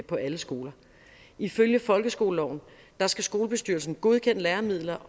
på alle skoler ifølge folkeskoleloven skal skolebestyrelsen godkende læremidler